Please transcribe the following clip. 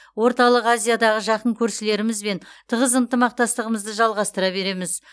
орталық азиядағы жақын көршілерімізбен тығыз ынтымақтастығымызды жалғастыра береміз